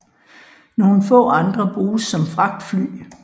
Nogle få andre bruges som fragtfly